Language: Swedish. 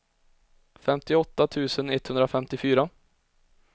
femtioåtta tusen etthundrafemtiofyra